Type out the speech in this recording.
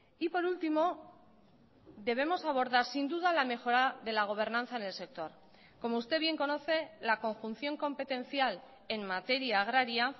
y por último debemos abordar sin duda la mejora de la gobernanza en el sector como usted bien conoce la conjunción competencial en materia agraria